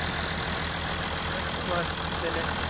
এখনো মাস তিনেক।